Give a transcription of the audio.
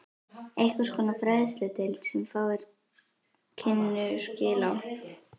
Einhvers konar fræðsludeild, sem fáir kynnu skil á.